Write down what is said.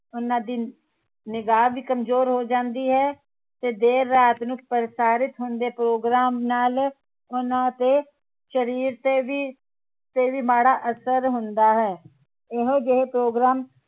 ਉਹਨਾਂ ਦੀ ਨਿਗਾਹ ਵੀ ਕਮਜ਼ੋਰ ਹੋ ਜਾਂਦੀ ਹੈ ਤੇ ਦੇਰ ਰਾਤ ਨੂੰ ਪ੍ਰਸਾਰਿਤ ਹੁੰਦੇ ਪ੍ਰੋਗਰਾਮ ਨਾਲ ਉਹਨਾਂ ਤੇ ਸ਼ਰੀਰ ਤੇ ਤੇ ਵੀ ਮਾੜਾ ਅਸਰ ਹੁੰਦਾ ਹੈ ਇਹੋ ਜਿਹੇ ਪ੍ਰੋਗਰਾਮ